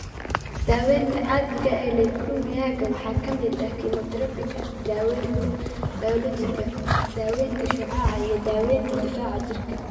Daawaynta caadiga ah ee leukemia-ga waxaa ka mid ah kiimoterabiga, daaweynta bayoolojiga, daawaynta shucaaca, iyo daawaynta difaaca jirka.